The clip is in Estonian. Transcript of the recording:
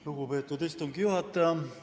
Lugupeetud istungi juhataja!